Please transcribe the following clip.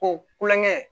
Ko kulonkɛ